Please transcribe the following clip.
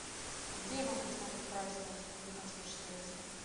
где я могу посмотреть прайс на услуги консьерж сервиса